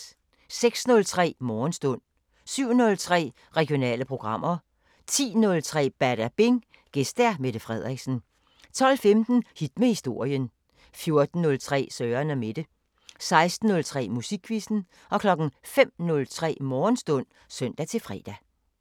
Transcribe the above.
06:03: Morgenstund 07:03: Regionale programmer 10:03: Badabing: Gæst Mette Frederiksen 12:15: Hit med historien 14:03: Søren & Mette 16:03: Musikquizzen 05:03: Morgenstund (søn-fre)